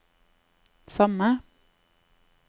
samme